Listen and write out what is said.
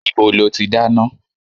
Ibo lo ti dáná?